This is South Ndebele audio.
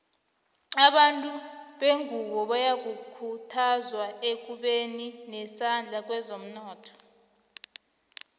abantu bengunbo bayakhuthazwa ekubeni nesandla kwezomnotho